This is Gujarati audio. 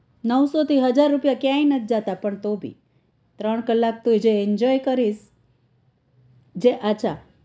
નવસો થી હજાર રૂપિયા ક્યાંય નથ જતા પણ તો બી ત્રણ કલાક તું જે enjoy કરીશ જે અચ્છા